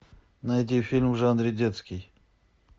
найди фильм в жанре детский